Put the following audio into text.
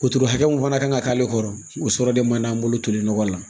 Wotoro hakɛ mun fana kan ka k'ale kɔrɔ o sɔrɔ de man d'an bolo toli nɔgɔ la